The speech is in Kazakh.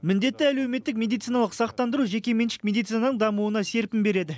міндетті әлеуметтік медициналық сақтандыру жекеменшік медицинаның дамуына серпін береді